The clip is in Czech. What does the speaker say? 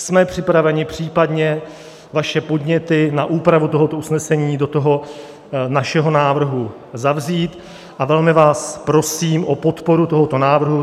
Jsme připraveni případně vaše podněty na úpravu tohoto usnesení do toho našeho návrhu zavzít a velmi vás prosím o podporu tohoto návrhu.